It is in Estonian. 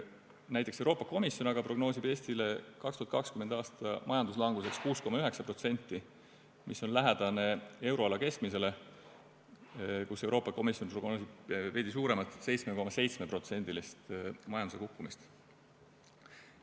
Näiteks aga Euroopa Komisjon prognoosib Eesti 2020. aasta majanduslanguseks 6,9%, mis on lähedane euroala keskmisele, milleks Euroopa Komisjon prognoosib veidi suuremat, 7,7%-list majanduse kukkumist.